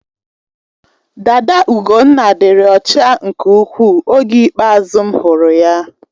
Dada Ugonna dịrị ọcha nke ukwuu oge ikpeazụ m hụrụ ya.